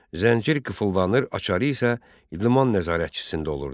Zəncir qıfıllanır, açarı isə liman nəzarətçisində olurdu.